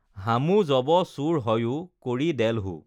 হামু যব চোৰ হঞো কৰি দেলহো